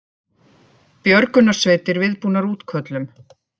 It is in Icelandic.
Björgunarsveitir viðbúnar útköllum